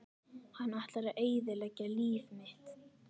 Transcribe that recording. Hann ætlar að eyðileggja líf mitt!